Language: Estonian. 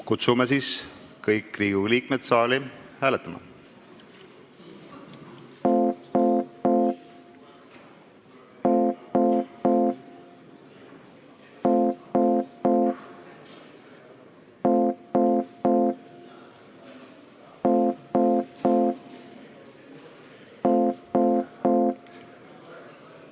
Kutsume kõik Riigikogu liikmed saali hääletama.